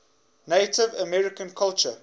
native american culture